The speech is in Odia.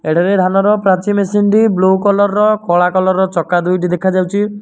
ଏଠାରେ ଧାନର ପ୍ରାଚୀ ମେସିନ୍ ଟି ବ୍ଲ କଲର୍ ର କଳା କଲର୍ ଚକା ଦୁଇଟି ଦେଖାଯାଉଛି।